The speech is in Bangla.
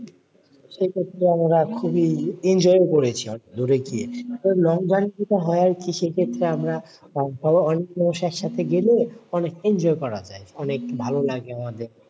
সেক্ষেত্রে আমরা খুবই enjoy ও করেছি অনেক দূরে গিয়ে কারণ long journey যেটা হয় আরকি সেক্ষেত্রে আমরা ধরো অনেক মানুষের সাথে গেলেও অনেক enjoy করা যায় অনেক ভালো লাগে আমাদের,